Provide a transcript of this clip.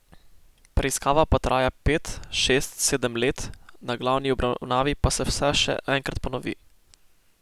Preiskava pa traja pet, šest, sedem let, na glavni obravnavi pa se vse še enkrat ponovi.